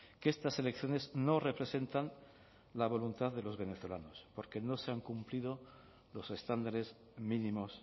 que estas elecciones no representan la voluntad de los venezolanos porque no se han cumplido los estándares mínimos